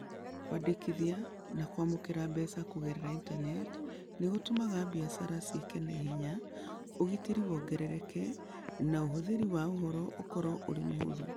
Kwandĩkithia na kwamũkĩra mbeca kũgerera Intaneti nĩ gũtũmaga biacara ciĩke na ihenya, ũgitĩri wongerereke, na ũhũthĩri wa ũhoro ũkorũo ũrĩ mũhũthũ.